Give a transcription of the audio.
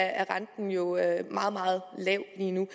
er renten jo meget meget lav lige nu